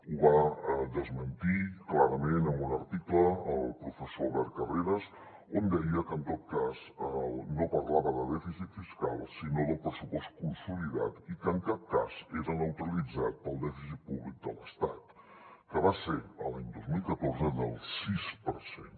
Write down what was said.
ho va desmentir clarament amb un article el professor albert carreras on deia que en tot cas no parlava de dèficit fiscal sinó de pressupost consolidat i que en cap cas era neutralitzat pel dèficit públic de l’estat que va ser l’any dos mil catorze del sis per cent